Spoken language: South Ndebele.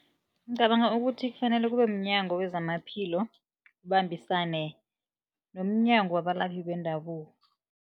Ngicabanga ukuthi kufanele kube mnyango wezamaphilo ubambisane nomnyango abalaphi bendabuko.